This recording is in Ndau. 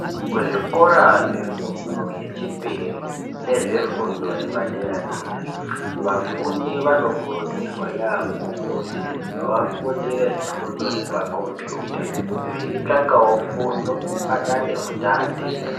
Kuzvikora zvefundo yechipiri zvefundo yepadera dera vafundi vanokurudzirwa yambo kuti vafundire zvifundo zvepakombiyita veitsvakawo fundo padande mutande.